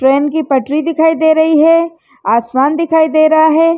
Train की पटरी दिखाई दे रही है आसमान दिखाई दे रहा है।